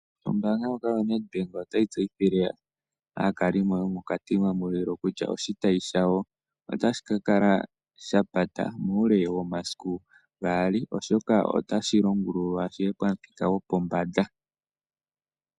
Ombaanga ndjoka yoNedbank otayi tseyithile aakalimo yomoKatima Mulilo kutya, oshitayi shawo otashi kakala shapata muule womasiku gaali oshoka, otashi longululwa shiye pamuthika gopombanda.